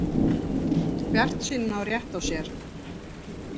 Bjartsýnin á rétt á sér